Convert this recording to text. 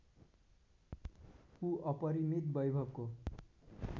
ऊ अपरिमित वैभवको